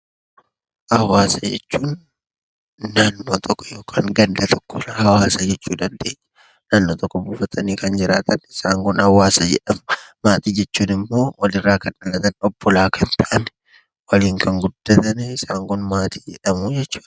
Hawaasa jechuun ganda tokko yookiin naannoo tokko irraa hawaasa jechuu dandeenya. Naannoo tokko buufatanii kan jiraatan isaan kun hawaasa jedhamu. Maatii jechuun walirraa kan dhalatan, obbolaa kan ta'an, waliin kan guddatan isaan kun maatii jedhamu jechuudha.